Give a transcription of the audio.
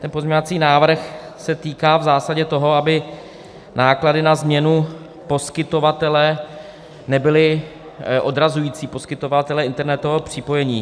Ten pozměňovací návrh se týká v zásadě toho, aby náklady na změnu poskytovatele nebyly odrazující - poskytovatele internetového připojení.